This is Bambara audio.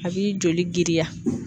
A b'i joli giriya.